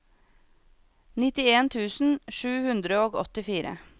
nittien tusen sju hundre og åttifire